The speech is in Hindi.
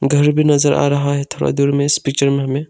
घर भी नजर आ रहा है थोड़ा दूर में इस पिक्चर में हमें।